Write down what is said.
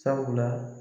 Sabula